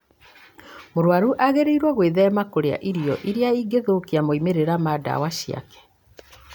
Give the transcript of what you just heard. Mũrũaru agĩrĩirũo gwĩthema kũrĩa irio iria ingĩthũkia moimĩrĩra ma ndawa ciake.